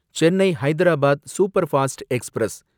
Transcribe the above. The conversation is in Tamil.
Chennai Hyderabad superfast express